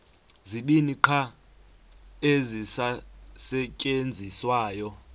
zibini qha ezisasetyenziswayo